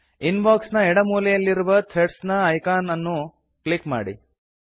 ಇನ್ box ನ ಎಡ ಮೂಲೆಯಲ್ಲಿರುವ ಥ್ರೆಡ್ಸ್ ಐಕಾನ್ ಅನ್ನು ಕ್ಲಿಕ್ ಮಾಡಿ